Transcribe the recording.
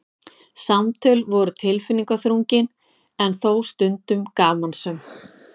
Samtöl voru tilfinningaþrungin en þó stundum gamansöm.